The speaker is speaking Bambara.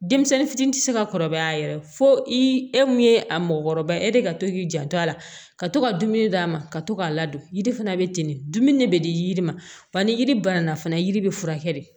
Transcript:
Denmisɛnnin fitinin ti se ka kɔrɔbaya yɛrɛ fo i e mun ye a mɔgɔkɔrɔba e de ka to k'i janto a la ka to ka dumuni d'a ma ka to k'a ladon yiri fana be ten de dumuni de be di yiri ma ba ni yiri banana fana yiri be furakɛ de